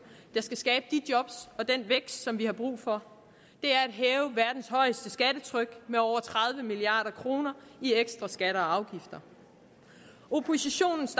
der skal skabe de job og den vækst som vi har brug for er at hæve verdens højeste skattetryk med over tredive milliard kroner i ekstra skatter og afgifter oppositionens